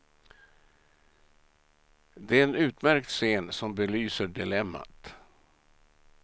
Det är en utmärkt scen som belyser dilemmat.